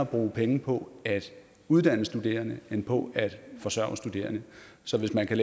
bruge pengene på at uddanne studerende end på at forsørge studerende så hvis man kan